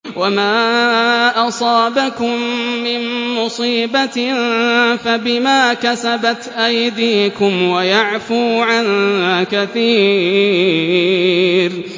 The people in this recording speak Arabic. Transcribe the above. وَمَا أَصَابَكُم مِّن مُّصِيبَةٍ فَبِمَا كَسَبَتْ أَيْدِيكُمْ وَيَعْفُو عَن كَثِيرٍ